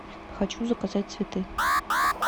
хочу заказать цветы